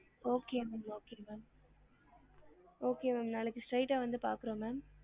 Okay ma'am okay ma'am okay ma'am நாளைக்கு straight ஆ வந்து பாக்குறோம் ma'am